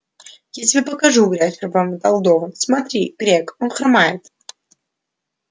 я тебе покажу грязь пробормотал донован смотри грег он хромает